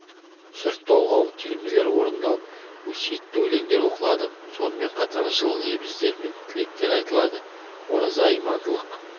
жыр-толғау термелер орындалып өсиетті өлеңдер оқылады сонымен қатар жылы лебіздер мен тілектер айтылады ораза имандылық